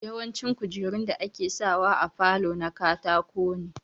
Yawanci kujerun da ake sa wa a falo na katako ne